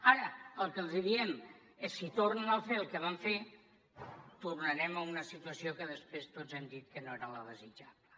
ara el que els diem és si tornen a fer el que van fer tornarem a una situació que després tots hem dit que no era la desitjable